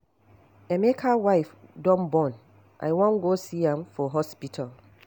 Emeka wife don born I wan go see am for hospital